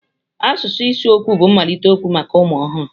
Asụsụ ịsụ okwu bụ mmalite okwu maka ụmụ ọhụrụ.